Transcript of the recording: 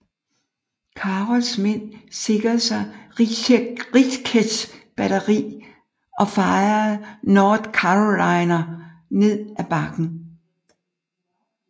Carrolls mænd sikrede sig Ricketts batteri og fejede North Carolinerne ned af bakken